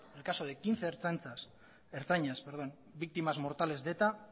el caso de quince ertzainas víctimas mortales de eta